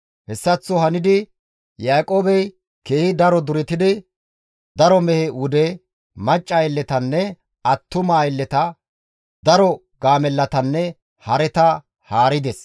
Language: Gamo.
Hessaththo hanidi Yaaqoobey keehi duretidi, daro mehe wude, macca aylletanne attuma aylleta, daro gaamellatanne hareta haarides.